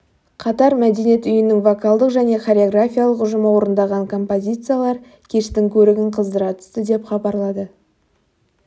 қатар мәдениет үйінің вокалдық және хореографиялық ұжымы орындаған композициялар кештің көрігін қыздыра түсті деп хабарлады